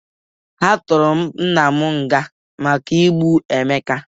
A tụrụ nna m nga maka igbu Emeka.